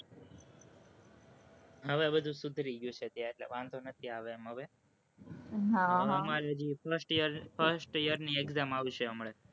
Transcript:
હવે બધું સુધરી ગયું છે ત્યાં, એટલે વાંધો નથી આવે એમ હવે હવે અમારે first year, first year ની exam આવશે હવે